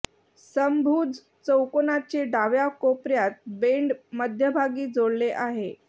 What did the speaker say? समभुज चौकोनाचे डाव्या कोपर्यात बेंड मध्यभागी जोडले आहे